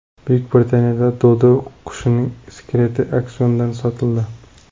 Buyuk Britaniyada dodo qushining skeleti auksiondan sotildi.